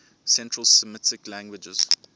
central semitic languages